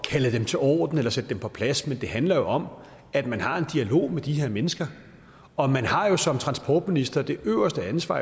kalde dem til orden eller sætte dem på plads men det handler om at man har en dialog med de her mennesker og man har jo som transportminister det øverste ansvar